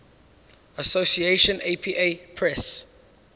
association apa press